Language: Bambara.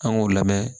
An k'o lamɛn